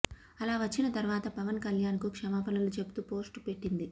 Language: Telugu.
అలా వచ్చిన తర్వాత పవన్ కళ్యాణ్ కు క్షమాపణలు చెబుతూ పోస్టు పెట్టింది